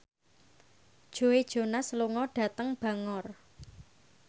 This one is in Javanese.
Joe Jonas lunga dhateng Bangor